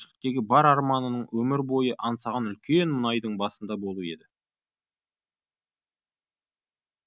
тіршіліктегі бар арманың өмір бойы аңсаған үлкен мұнайдың басында болу еді